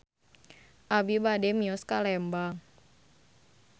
Abi bade mios ka Lembang